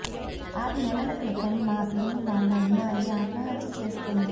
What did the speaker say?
ఆరు నెలల క్రితం మా పిన్ని వాళ్ళ అమ్మాయి ఆత్మ హత్య చేసుకుంది